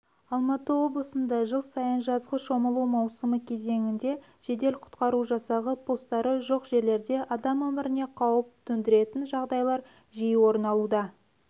алматы облысында жыл сайын жазғы шомылу маусымы кезеңінде жедел-құтқару жасағы постары жоқ жерлерде адам өміріне қауіп төндіретін жағдайлар жиі орын алуда